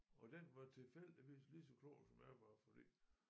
Og den var tilfældigvis lige så klog som jeg var fordi